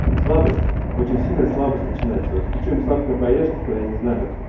слабость очень сильная слабость начинается при чем сладкое поешь типа я не знаю